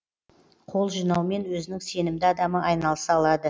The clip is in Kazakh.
қол жинаумен өзінің сенімді адамы айналыса алады